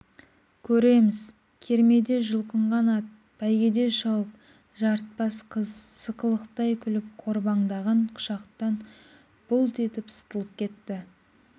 көреміз кермеде жұлқынған ат бәйгеде шауып жарытпас қыз сықылықтай күліп қорбаңдаған құшақтан бұлт етіп сытылып кетті